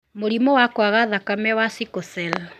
Mũrimũ wa kwaga thakame wa sickle cell: